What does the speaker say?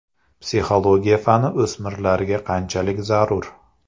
Psixologiya fani o‘smirlarga qanchalik zarur?